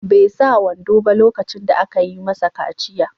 Bai sa wando ba lokacin da aka yi masa kaciya.